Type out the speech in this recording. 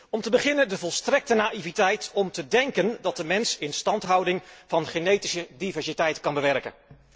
Om te beginnen de volstrekte naïviteit om te denken dat de mens instandhouding van genetische diversiteit kan bewerken.